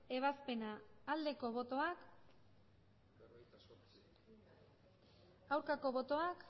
ebazpena aldeko botoak aurkako botoak